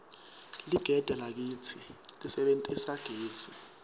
ligede lakitsi lisebentisa gesi